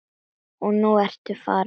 Og nú ertu farin.